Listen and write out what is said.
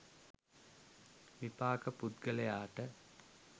විපාක පුද්ගලයාට